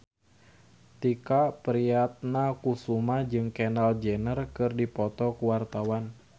Tike Priatnakusuma jeung Kendall Jenner keur dipoto ku wartawan